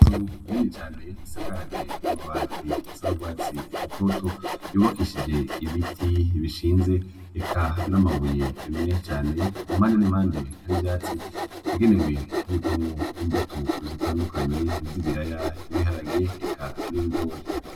Unenecane isakaje amabati asaragwatsi rutoto yubakishije ibiti bishinze eka n'amabuye emwe cane ku mande n'imande hari vyatsi egenewe kubikwa mu imbuto zitandukanye zibiraya ibiharage eka n'ibigore.